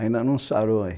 Ainda não sarou aí.